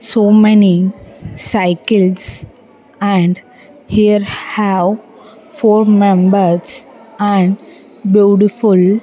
So many cycles and here have four members and beautiful --